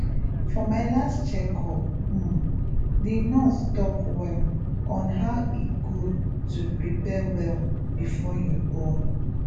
for my last check up um the nurse talk well on how e good to prepare well before you born